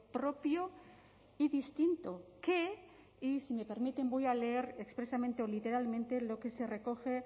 propio y distinto que y si me permiten voy a leer expresamente o literalmente lo que se recoge